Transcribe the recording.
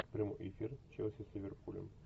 прямой эфир челси с ливерпулем